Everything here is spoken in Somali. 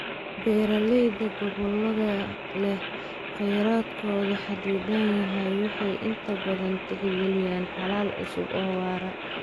Beeralayda gobollada leh kheyraadkoodu xaddidan yahay waxay inta badan tixgeliyaan xalal cusub oo waara.